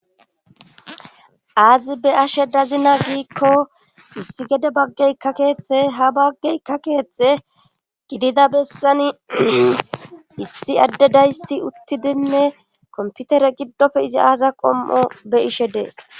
Aazi be ashe dazina giikko issi gede baggey ka keeththe ha baggey ka keeththe gidida bessani issi adde dayssi uttidinne komputere giddofe izi aaza qom'o be ishe dees.